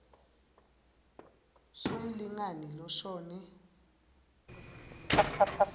s umlingani loshone